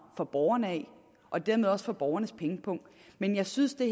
fra borgerne og dermed også fra borgernes pengepung men jeg synes det